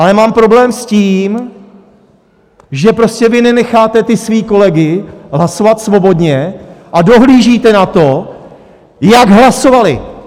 Ale mám problém s tím, že prostě vy nenecháte ty své kolegy hlasovat svobodně a dohlížíte na to, jak hlasovali.